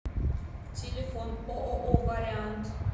телефон ооо вариант